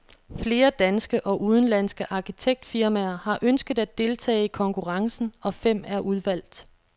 Flere danske og udenlandske arkitektfirmaer har ønsket at deltage i konkurrencen, og fem er udvalgt.